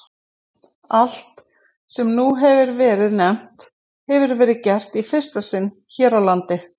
Allt, sem nú hefir verið nefnt, hefir verið gert í fyrsta sinn hér á landi.